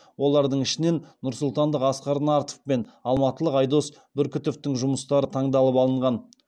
олардың ішінен нұрсұлтандық асқар нартов пен алматылық айдос бүркітовтің жұмыстары таңдалып алынған